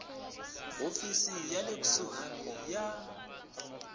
hofisi ya le kusuhani ya